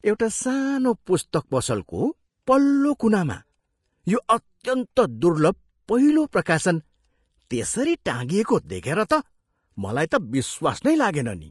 एउटा सानो पुस्तक पसलको पल्लो कुनामा यो अत्यन्त दुर्लभ पहिलो प्रकाशन त्यसरी टाँगिएको देखेर त मलाई त विश्वास नै लागेन नि।